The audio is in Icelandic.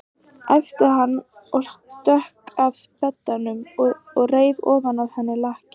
æpti hann og stökk að beddanum og reif ofan af henni lakið.